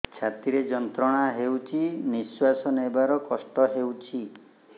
ଛାତି ରେ ଯନ୍ତ୍ରଣା ହେଉଛି ନିଶ୍ଵାସ ନେବାର କଷ୍ଟ ହେଉଛି